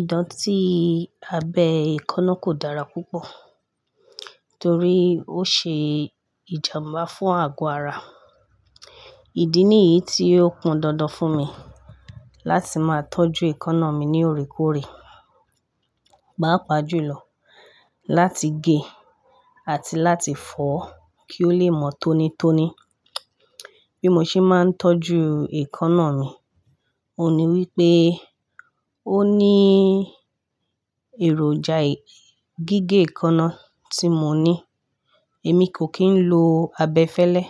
Ìdọ̀tí abẹ ekaná kò dára púpọ̀ torí ó ṣe ìjàmbá fún àgọ́ ara. Ìdí nìyí tí ó kún dandan fún mi láti máa tọ́jú ekaná mi ní òrékórè, páàpáàjùlọ láti gé è àti láti fọ́ kí ó lè mọ́ tónítóní. Bí mo ṣe máa ń tọ́jú ekaná mi, ohun ní wípé ó ní èròjà gígé ekaná tí mo ní, èmi kò kí ń lo abẹ fẹ́lẹ́.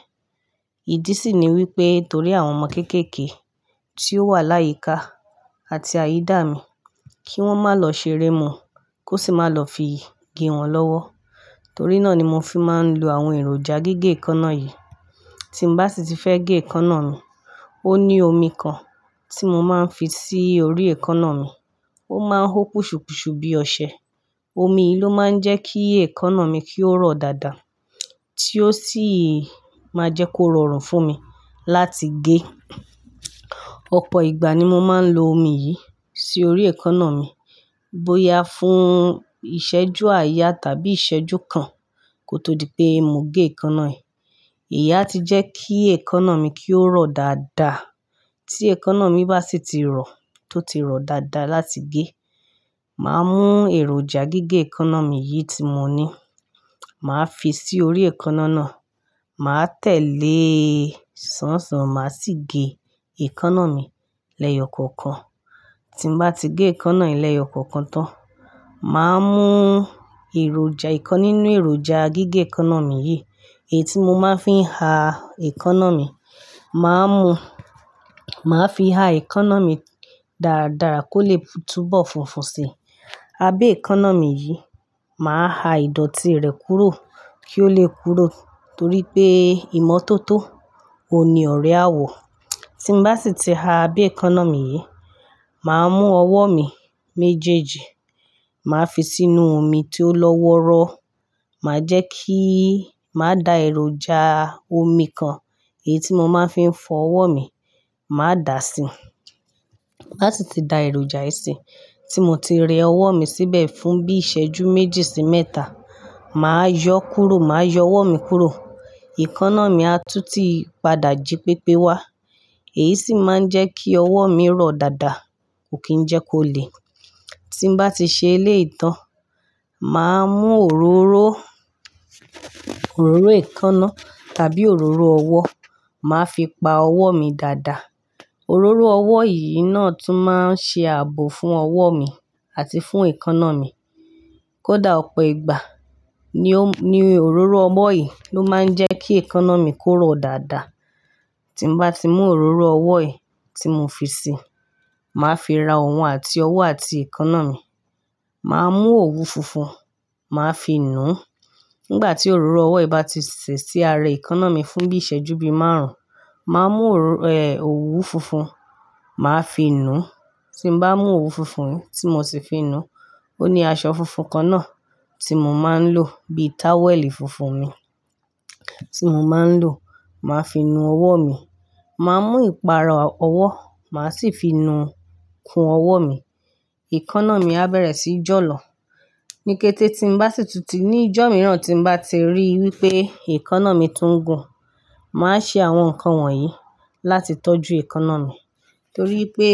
Ìdí sì ni wípé torí àwọn ọmọ kéékèèké tí ó wà láyíka àti àyídà mi kí wọ́n má lọ ṣeré mọ́ kó sì má lọ fi gé wọn lọ́wọ́. Torí náà ni mo fi máa ń lo àwọn èròjà gígé ìkaná yìí. Tí mo bá sì ti fẹ́ gé ekaná mi, ó ní omi kan tí mo máa ń fi sí orí ekaná mi. Ó máa ń hó pùṣùpùṣù bí ọṣẹ. Omi yìí ló máa ń jẹ́ kí ìkaná mi kí ó rọ̀ dáadáa tí ó sì máa jẹ́ kó rọrùn fún mi láti gé. Ọ̀pọ̀ ìgbà ni mo máa ń lo omi yìí sí orí ìkaná mi. Bóyá fún ìṣẹ́jú àáyá tàbí ìṣẹ́jú kan kó tó di pé mo gé ekaná yi. Ìyá ti jẹ́ kí ìkaná mi kí ó rọ̀ dáadáa. Tí ekaná mi bá sì ti rọ, tó ti rọ̀ dáadáa láti gé, màá mú èròjà gígé ekaná mi yìí tí mo ní, màá fi sí orí ekaná náà, màá tẹ̀lé sánsàn màá sì gé ìkaná mi lẹ́yọ̀ kọ̀ọ̀kan. Tí mo bá ti gé ekaná mi lẹ́yọ̀ kọ̀ọ̀kan tán, màá mú èròjà ìkan nínú èròjà gígé ekaná mi yìí, èyí tí mo máa ń fi ha ekaná mi, màá mú, màá fi ha ekaná mi dáradára kó lè túbọ̀ funfun si. Abẹ́ ekaná mi yìí, màá ha ìdọ̀tí rẹ̀ kúrò kí ó lè kúrò torí pé ìmọ́tótó òun ní ọ̀rẹ́ àwọ̀. Tí mo bá sì ti ha abẹ́ ìkaná mi yìí, màá mú ọwọ́ mi méjèèjì, màá fi sínú omi tí ó lọ́wọ́rọ́, màá jẹ́ kí, màá da èròjà omi kan èyí tí mo máa ń fi fọ ọwọ́ mi, màá dà á sí i. Lá si ti da èròjà yìí sí, tí mo ti rẹ ọwọ́ mi síbẹ̀ fún bí ìṣẹ́jú méjì sí mẹ́ta, màá yọ kúrò, màá yọ ọwọ́ mi kúrò. Ìkaná mi á tú tí padà jí pépé wá, èyí sì máa ń jẹ́ kí ọwọ́ mi rọ̀ dáadáa, kò kí ń jẹ́ kó le. Tí mo bá ti ṣe èléyìí tán, màá mú òróró, òróró ekaná tàbí òróró ọwọ́, màá fi pa ọwọ́ mi dáadáa. Òróró ọwọ́ yìí náà tún máa ń ṣe ààbò fún ọwọ́ mi àti fún ìkaná mi. Kódà ọ̀pọ̀ ìgbà ni ó, ni òróró ọwọ́ yìí ló máa ń jẹ́ kí ekaná mi kó rọ̀ dáadáa. Tí mo bá ti mú òróró ọwọ́ yìí tí mo fi sí, màá fi ra òun àti ọwọ́ àti ekaná mi. Màá mú òwu funfun, màá fi nu. Nígbà tí òróró ọwọ́ yìí bá ti ṣè sí ara ìkaná mi fún bí ìṣẹ́jú bí márùn-ún, màá mú òru, eh, òwu funfun, màá fi nu. Tí mo bá mú òwu funfun yìí tí mo ti fi nu, ó ní aṣọ funfun kan náà tí mo máa ń lò bí táwẹ̀lì funfun mi tí mo máa ń lò, màá fi nu ọwọ́ mi. Màá mú ìpara ọwọ́, màá sì fi nu kun ọwọ́ mi. Ìkaná mi á bẹ̀rẹ̀ sí jọ̀lọ̀. Nikẹ́tẹ́ tí n bá sì tutù, ní ìjọ́ mìíràn tí mo bá ti rí wípé ekaná mi tún gùn, màá ṣe àwọn nǹkan wọ̀nyí láti tọ́jú ekaná mi torí pé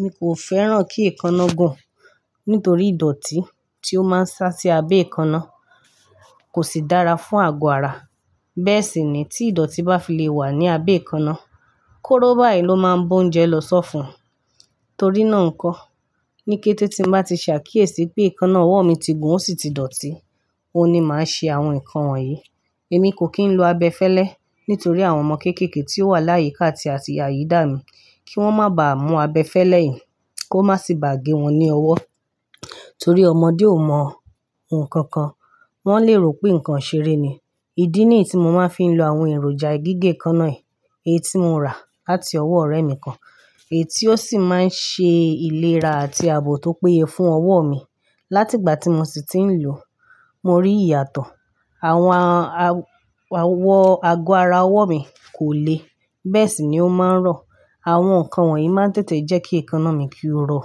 mi kò fẹ́ràn kí ekaná gùn nítorí ìdọ̀tí tí ó máa ń sá sí abẹ́ ekaná kò sì dára fún àgọ́ ara. Bẹ́ẹ̀ sì ni tí ìdọ̀tí bá fi lè wà ní abẹ́ ekaná, kóró báyìí ló máa ń ba oúnjẹ lọ sọ́fun. Torí náà nǹkan, nikẹ́tẹ́ tí n bá ti ṣàkíyèsí pé ekaná ọwọ́ mi ti gùn ó sì ti dọ̀tí, oun ni màá ṣe àwọn nǹkan wọ̀nyí. Èmi kò kí ń lo abẹ fẹ́lẹ́ nítorí àwọn ọmọ kéékèèké tí ó wà láyíka àti àyídà mi kí wọ́n má ba à mú abẹ fẹ́lẹ́ yìí kó má sì bá gé wọn ní ọwọ́ torí ọmọdé ò mọ ohun kankan, wọ́n lè rò pé nǹkan iṣeré ni. Ìdí nìyí tí mo máa ń fi ń lo àwọn èròjà gígé ekaná yìí èyí tí mo rà láti ọwọ́ ọ̀rẹ́ mi kan, èyí tí ó sì máa ń ṣe ìlera àti ààbò tó péye fún ọwọ́ mi. Láti ìgbà tí mo sì ti ń lò ó, mo rí ìyàtọ̀. Àwọn a-a-awọ àgọ́ ara ọwọ́ mi kò le. Bẹ́ẹ̀ sì ni ó máa ń rọ̀. Àwọn nǹkan wọ̀nyí máa ń tètè jẹ́ kí ìkaná mi kí ó rọ̀.